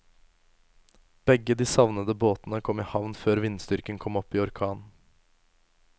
Begge de savnede båtene kom i havn før vindstyrken kom opp i orkan.